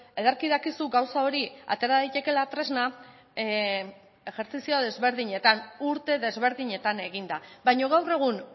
ederki dakizu gauza hori atera daitekeela tresna ejertzizio desberdinetan urte desberdinetan eginda baina gaur egun